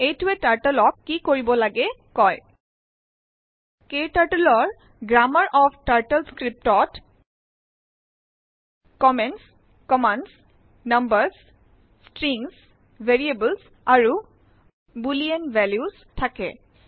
এইটোএ turtle ক কি কৰিব লাগে কয় ক্টাৰ্টল ৰ গ্ৰাম্মাৰ অফ টাৰ্টলস্ক্ৰিপ্ট ত comments commands numbers strings variables আৰু বুলিন ভেলিউচ থাকে